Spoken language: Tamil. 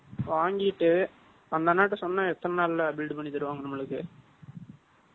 வாங்கிட்டு, அந்த அண்ணாகிட்டே சொன்னா, எத்தன நாள்ல build பண்ணி தருவாங்க நம்மளுக்கு?